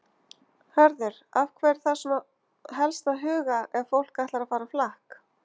Hörður, að hverju þarf svona helst að huga ef fólk ætlar að fara á flakk?